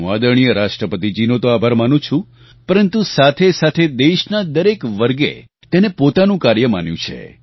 હું આદરણીય રાષ્ટ્રપતિજીનો તો આભાર માનું જ છું પરંતુ સાથેસાથે દેશના દરેક વર્ગે તેને પોતાનું કાર્ય માન્યું છે